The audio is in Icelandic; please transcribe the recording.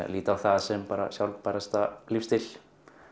lít á það sem sjálfbærasta lífsstílinn